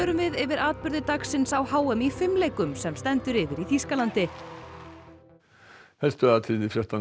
við yfir atburði dagsins á h m í fimleikum sem stendur yfir í Þýskalandi